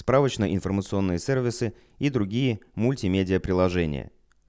справочные информационные сервисы и другие мультимедиа приложения